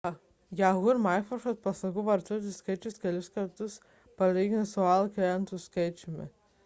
yahoo ir microsoft paslaugų vartotojų skaičius kartu sudėjus lygus aol klientų skaičiui